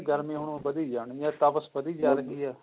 ਹੋਲੀ ਹੋਲੀ ਗਰਮੀ ਹੁਣ ਵਧੀ ਜਾਣਗੀਆਂ ਤਪਸ ਵਧੀ ਜਾ ਰਹੀ ਹੈ